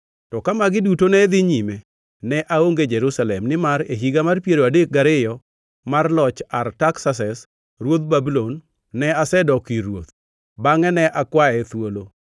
To ka magi duto ne dhi nyime, ne aonge Jerusalem, nimar e higa mar piero adek gariyo mar loch Artaksases ruodh Babulon ne asedok ir ruoth. Bangʼe ne akwaye thuolo